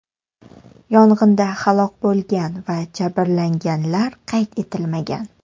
Yong‘inda halok bo‘lgan va jabrlanganlar qayd etilmagan.